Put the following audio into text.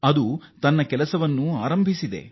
ಅದು ಕಾರ್ಯಾರಂಭ ಮಾಡಿದೆ